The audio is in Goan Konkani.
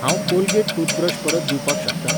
हांव कोलगेट टूथब्रश परत दिवपाक शकतां?